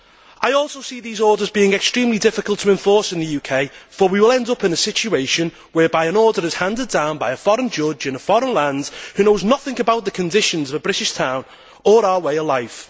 I also see these orders as being extremely difficult to enforce in the UK, for we will end up in a situation whereby an order is handed down by a foreign judge in a foreign land who knows nothing about the conditions of a British town or our way of life.